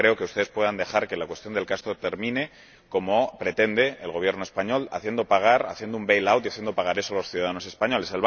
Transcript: Yo no creo que ustedes puedan dejar que la cuestión del proyecto Castor termine como pretende el Gobierno español, haciendo un bail out y haciendo pagar eso a los ciudadanos españoles.